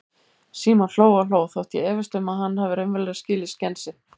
Símon hló og hló, þótt ég efist um að hann hafi raunverulega skilið skensið.